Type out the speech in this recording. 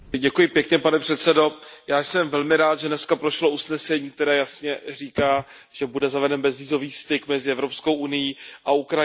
Pane předsedající, já jsem velmi rád, že dneska prošlo usnesení, které jasně říká, že bude zaveden bezvízový styk mezi Evropskou unií a Ukrajinou.